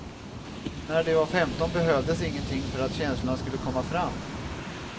När de var femton behövdes ingenting för att känslorna skulle komma fram.